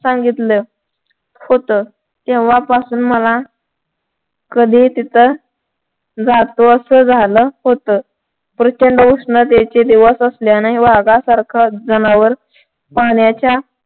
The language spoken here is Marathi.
सांगितलं होत तेव्हापासुन मला कधी तिथं जातो असं झालं होत प्रचंड उष्णतेचे दिवस असल्याने वाघासारख जनावर पाण्याच्या